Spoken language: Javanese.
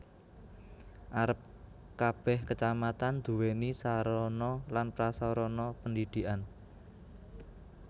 Arep kebeh Kacamatan duwéni sarana lan prasarana pendidikan